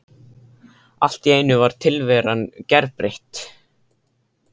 Allt í einu var tilveran gerbreytt.